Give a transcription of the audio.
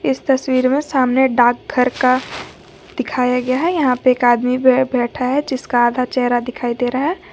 इस तस्वीर में सामने डाकघर का दिखाया गया है यहां पे एक आदमी बे बैठा है जिसका आधा चेहरा दिखाई दे रहा है।